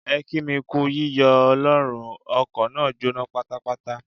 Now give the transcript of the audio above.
Ẹ kí mi kú yíyọ Ọlọ́run, ọkọ̀ náà jóná pátápátá.